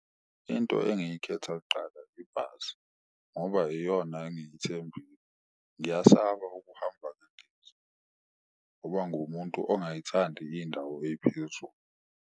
Into engiyikhetha kuqala ibhasi ngoba iyona engiyithembile, ngiyasaba ukuhamba ngendiza ngoba nguwumuntu ongayithandi iyindawo eyiphezulu.